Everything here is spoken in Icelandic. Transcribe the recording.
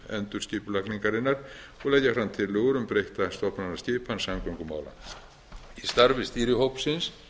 endurskipulagningarinnar og leggja fram tillögur um breytta stofnanaskipan samgöngumála í starfi stýrihópsins